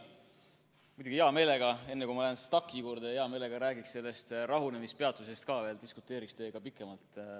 Muidugi, hea meelega, enne kui ma lähen STAK‑i juurde, räägiksin sellest rahunemispeatusest ka veel, diskuteeriksin teiega pikemalt.